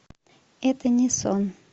это не сон